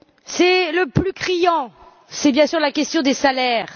C'est le plus criant, c'est bien sûr la question des salaires.